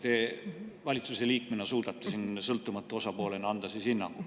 Te valitsuse liikmena suudate siin sõltumatu osapoolena anda hinnangu.